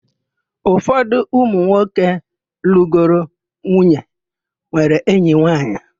Ụfọdụ ụmụ nwoke lụgoro nwunye nwere enyi nwaanyị.